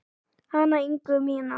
Hana Ingu mína.